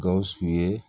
Gawusu ye